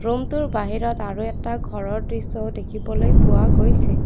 ৰমটোৰ বাহিৰত আৰু এটা ঘৰৰ দৃশ্যও দেখিবলৈ পোৱা গৈছে।